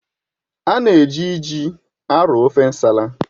A na-eji ji arọọ ofe nsala.